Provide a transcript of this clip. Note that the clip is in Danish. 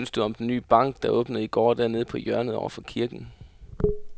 Hvad synes du om den nye bank, der åbnede i går dernede på hjørnet over for kirken?